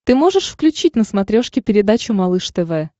ты можешь включить на смотрешке передачу малыш тв